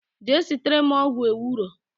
Jee sitere m ogwu ewuro